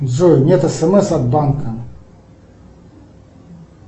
джой нет смс от банка